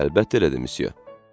Əlbəttə elədi, Msye.